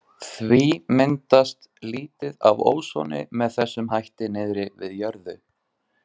Því myndast lítið af ósoni með þessum hætti niðri við jörðu.